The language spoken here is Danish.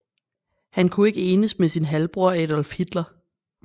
Han kunne ikke enes med sin halvbror Adolf Hitler